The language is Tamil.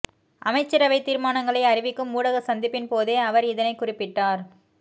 அமைச்சரவைத் தீர்மானங்களை அறிவிக்கும் ஊடக சந்திப்பின் போதே அவர் இதனைக் குறிப்பிட்டார்